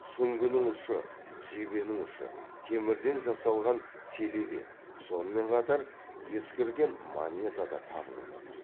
сүңгінің ұшы жебенің ұшы темірден жасалған селебе сонымен қатар ескірген монета да табылып отыр